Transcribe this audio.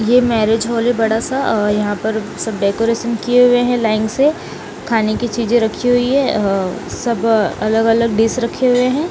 ये marriage hall है बड़ा सा अ यहां पर सब डेकोरेशन किये हुए है लाइन से खानेकी चीजें रखी हुई है अ सब अलग अलग डीश रखे हुए है।